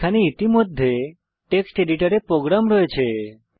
এখানে ইতিমধ্যে টেক্সট এডিটরে প্রোগ্রাম রয়েছে